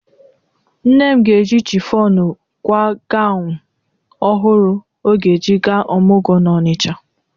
Nne m ga-eji chifọnụ kwaa ganwụ ọhụrụ ọ ga-eji gaa ọmụgwọ n'Ọnịcha.